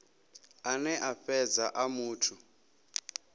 ane a fhedza a muthu